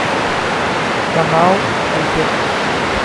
канал супер